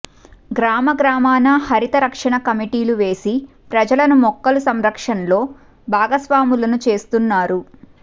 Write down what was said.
గ్రామగ్రామాన హరిత రక్షణ కమిటీలు వేసి ప్రజలను మొక్కల సంరక్షణలో భాగస్వాములను చేస్తున్నారు